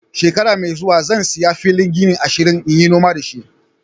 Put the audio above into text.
Shekara mai zuwa, zan siya filin gini ashirin n'yi noma da shi.